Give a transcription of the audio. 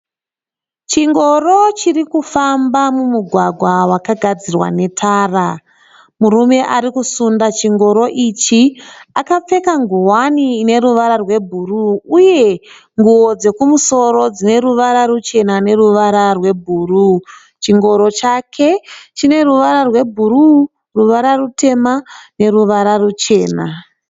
Chingoro chiri kufamba mumugwagwa wakagadzirwa netara. Murume ari kusunda chingoro ichi akapfeka ngowani ine ruvara rwebhuruu uye nguvo dzekumusoro dzeruvara ruchena neruvara rwebhuruu. Chingoro chake chine ruvara rwebhururu ruvara rutema neruvara ruchena